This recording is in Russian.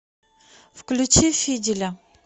включи фиделя